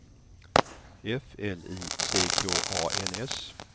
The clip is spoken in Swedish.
F L I C K A N S